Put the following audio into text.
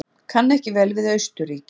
Kann ekki vel við Austurríki.